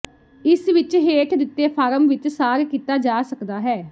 ਇਸ ਵਿੱਚ ਹੇਠ ਦਿੱਤੇ ਫਾਰਮ ਵਿੱਚ ਸਾਰ ਕੀਤਾ ਜਾ ਸਕਦਾ ਹੈ